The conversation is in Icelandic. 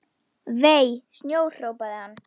Vei, snjór hrópaði hann.